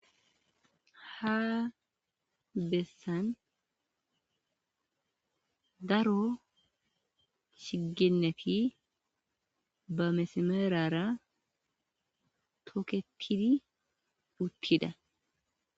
ha bessan daro shigenneti ba mesameerara toketidi puttida